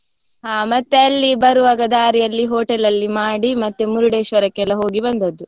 ಹಾ ಮತ್ತೆ ಅಲ್ಲಿ ಬರುವಾಗ ದಾರಿಯಲ್ಲಿ hotel ಅಲ್ಲಿ ಮಾಡಿ ಮತ್ತೆ Murdeshwar ಕೆಲ್ಲ ಹೋಗಿ ಬಂದದ್ದು.